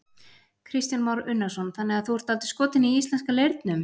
Kristján Már Unnarsson: Þannig að þú ert dálítið skotinn í íslenska leirnum?